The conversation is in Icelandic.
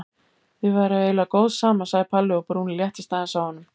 Þið væruð eiginlega góð saman sagði Palli og brúnin léttist aðeins á honum.